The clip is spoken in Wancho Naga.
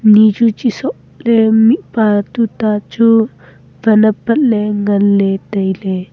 ni chu chisoh ley mihpa tuta chu wan apat ley ngan ley tai ley.